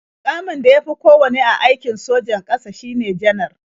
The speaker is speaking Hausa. Muƙamin da ya fi kowanne a aikon sojan ƙasa shine Janar.